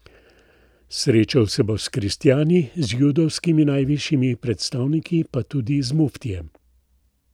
Srečal se bo s kristjani, z judovskimi najvišjimi predstavniki, pa tudi z muftijem.